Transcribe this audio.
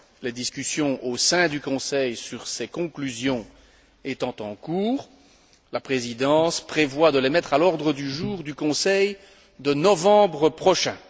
Les discussions au sein du Conseil sur ces conclusions étant en cours, la Présidence prévoit de les mettre à l'ordre du jour du Conseil de novembre prochain.